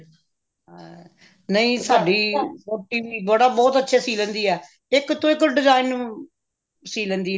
ਹਾਂ ਨਹੀ ਸਾਡੀ ਵਹੁਟੀ ਵੀ ਬਹੁਤ ਅੱਛੇ ਸੀ ਲੈਂਦੀ ਹੈ ਇੱਕ ਤੋਂ ਇੱਕ design ਸੀ ਲੈਂਦੀ ਹੈ